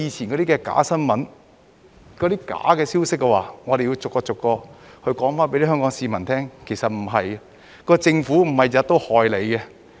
關於過去的假新聞、假消息，我們要逐一向香港市民解釋，實情並非這樣。